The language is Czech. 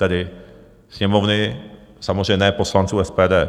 Tedy Sněmovny - samozřejmě ne poslanců SPD.